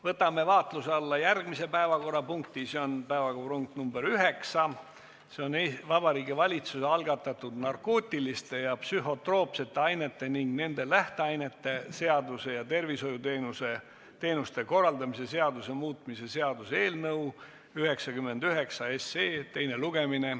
Võtame vaatluse alla järgmise päevakorrapunkti, see on päevakorrapunkt nr 9, Vabariigi Valitsuse algatatud narkootiliste ja psühhotroopsete ainete ning nende lähteainete seaduse ja tervishoiuteenuste korraldamise seaduse muutmise seaduse eelnõu 99 teine lugemine.